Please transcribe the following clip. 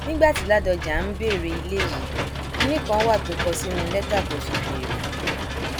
nígbà tí ládónjá ń béèrè ilé yìí kinní kan wà tó kọ sínú lẹtà tó fi béèrè